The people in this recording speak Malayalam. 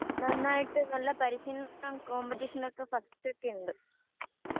നന്നായിട്ട് നല്ല പരിശീലനം കോമ്പറ്റിഷനൊക്കെ ഫസ്റ്റ് ഒക്കെ ഉണ്ട്